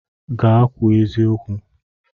Gaa kwuo eziokwu!